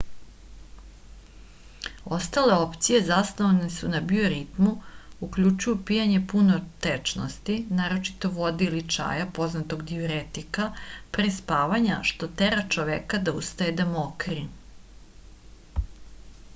остале опције засноване на биоритму укључују пијење пуно течности нарочито воде или чаја познатог диуретика пре спавања што тера човека да устаје да мокри